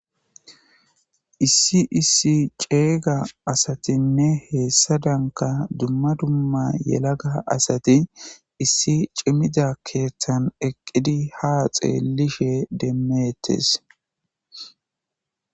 issi issi ceega asatinne heessadanka dumma dumma yelaga asati issi cimida keeththan eqqidi ha xeellishe demmeettes